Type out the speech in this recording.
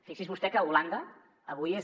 fixi’s vostè que holanda avui és